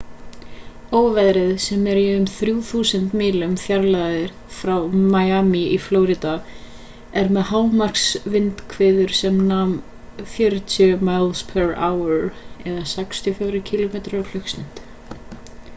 óveðrið sem er í um 3.000 mílu fjarlægð frá miami í flórída er með hámarksvindhviður sem nema 40 mph 64 km/klst